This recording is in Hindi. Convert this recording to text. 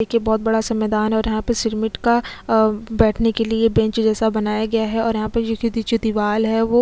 देखिये बहुत बड़ा सा मैदान है और यहाँ सिमिट का बैठने के लिए बेंच जैसा बनाया गया है और यहाँ पे जो दीवाल है वोह|।